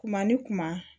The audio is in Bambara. Kuma ni kuma